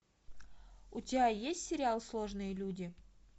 у тебя есть сериал сложные люди